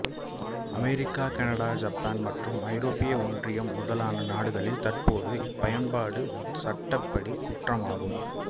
America Canada சப்பான் மற்றும் ஐரோப்பிய ஒன்றியம் முதலான நாடுகளில் தற்போது இப்பயன்பாடு சட்டப்படி குற்றமாகும்